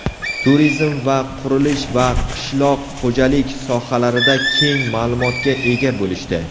turizm va qurilish va qishloq xo‘jalik sohalarida keng ma’lumotga ega bo‘lishdi.